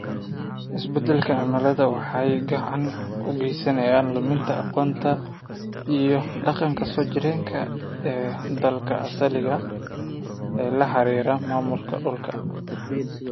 Isbeddelka cimiladu waxay gacan ka geysaneysaa luminta aqoonta iyo dhaqanka soo jireenka ah ee dadka asaliga ah ee la xiriira maamulka dhulka.